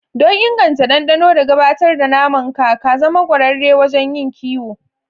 Don inganta dandano da gabatar da naman ka, ka zama ƙwararre wajen yin kiwo.